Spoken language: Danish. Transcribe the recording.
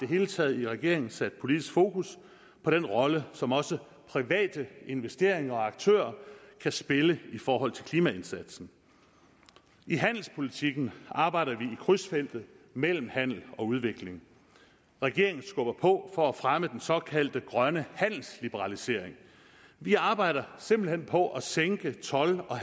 hele taget i regeringen sat politisk fokus på den rolle som også private investeringer og aktører kan spille i forhold til klimaindsatsen i handelspolitikken arbejder vi i krydsfeltet mellem handel og udvikling regeringen skubber på for at fremme den såkaldte grønne handelsliberalisering vi arbejder simpelt hen på at sænke toldsatser og